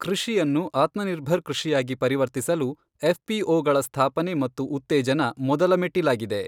ಕೃಷಿಯನ್ನು ಆತ್ಮನಿರ್ಭರ್ ಕೃಷಿಯಾಗಿ ಪರಿವರ್ತಿಸಲು ಎಫ್ ಪಿಒಗಳ ಸ್ಥಾಪನೆ ಮತ್ತು ಉ್ತತೇಜನ ಮೊದಲ ಮೆಟ್ಟಿಲಾಗಿದೆ.